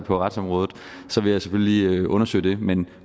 på retsområdet selvfølgelig lige undersøge det men